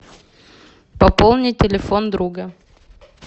пополнить телефон друга